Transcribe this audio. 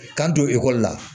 K'an don la